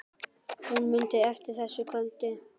Hún mundi eftir þessu kvöldi.